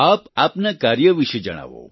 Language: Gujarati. આપ આપના કાર્ય વિશે જણાવો